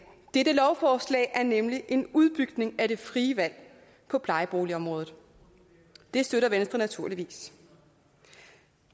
dette lovforslag er nemlig en udbygning af det frie valg på plejeboligområdet det støtter venstre naturligvis